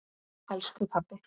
Elsku pabbi.